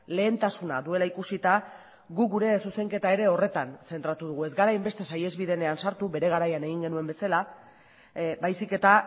lehentasuna duela ikusita guk gure zuzenketa ere horretan zentratu dugu ez gara hainbeste saihesbidean sartu bere garaian egin genuen bezala baizik eta